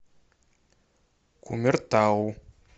кумертау